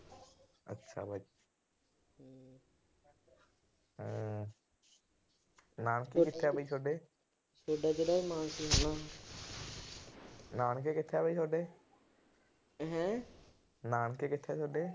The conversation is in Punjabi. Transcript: ਨਾਨਕੇ ਕਿੱਥੇ ਆ ਬਈ ਸੋਡੇ। ਨਾਨਕੇ ਕਿੱਥੇ ਆ ਬਈ ਸੋਡੇ। ਨਾਨਕੇ ਕਿੱਥੇ ਆ ਸੋਡੇ।